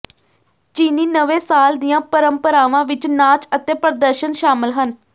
ਚੀਨੀ ਨਵੇਂ ਸਾਲ ਦੀਆਂ ਪਰੰਪਰਾਵਾਂ ਵਿੱਚ ਨਾਚ ਅਤੇ ਪ੍ਰਦਰਸ਼ਨ ਸ਼ਾਮਲ ਹਨ